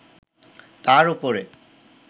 তার ওপরে